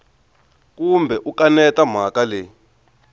kumbe u kaneta mhaka leyi